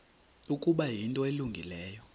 ukuba yinto elungileyo